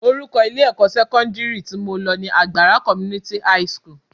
Orúkọ ilé-ẹ̀kọ́ sẹ́kọ́ndírì tí mo lọ ni Agbara Community high school